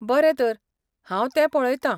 बरें तर, हांव तें पळयतां.